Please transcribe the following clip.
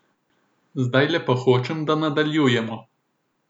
Zdajle pa hočem, da nadaljujemo.